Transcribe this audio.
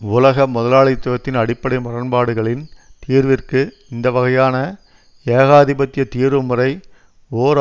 உலக முதலாளித்துவத்தின் அடிப்படை முரண்பாடுகளின் தீர்விற்கு இந்த வகையான ஏகாதிபத்திய தீர்வுமுறை ஓர்